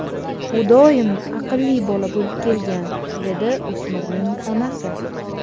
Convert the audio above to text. U doim aqlli bola bo‘lib kelgan”, dedi o‘smirning onasi.